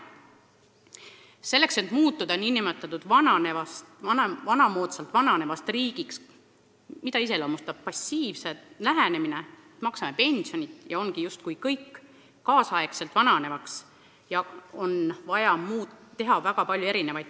Selleks et muutuda nn vanamoodsalt vananevast riigist – mida iseloomustab passiivselt lähenemine, et maksame pensioni, ja ongi justkui kõik – kaasaegselt vananevaks, on vaja teha väga palju.